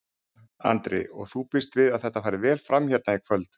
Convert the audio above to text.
Andri: Og þú býst við að þetta fari vel fram hérna í kvöld?